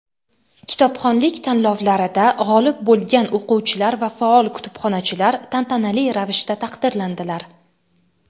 kitobxonlik tanlovlarida g‘olib bo‘lgan o‘quvchilar va faol kutubxonachilar tantanali ravishda taqdirlandilar.